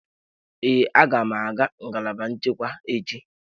Ee, aga m aga ngalaba nchekwa echi.